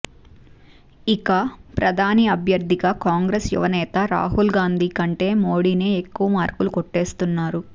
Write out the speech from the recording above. ఇక ప్రధాని అభ్యర్థిగా కాంగ్రెస్ యువనేత రాహుల్ గాంధీ కంటే మోడీనే ఎక్కువ మార్కులు కొట్టేస్తున్నారు